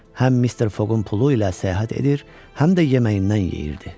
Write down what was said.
Həm Mister Foqun pulu ilə səyahət edir, həm də yeməyindən yeyirdi.